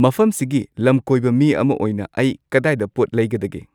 ꯃꯐꯝꯁꯤꯒꯤ ꯂꯝꯀꯣꯏꯕ ꯃꯤ ꯑꯃ ꯑꯣꯏꯅ ꯑꯩ ꯀꯗꯥꯏꯗ ꯄꯣꯠ ꯂꯩꯒꯗꯒꯦ